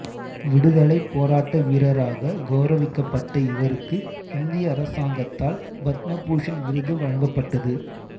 விடுதலைப் போராட்ட வீரராக கௌரவிக்கப்பட்ட இவருக்கு இந்திய அரசாங்கத்தால் பத்ம பூஷன் விருது வழங்கப்பட்டது